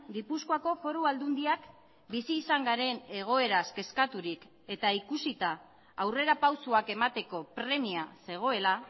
gipuzkoako foru aldundiak bizi izan garen egoeraz kezkaturik eta ikusita aurrerapausoak emateko premia zegoela